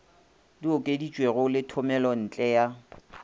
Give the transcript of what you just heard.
di okeditšwego le thomelontle ya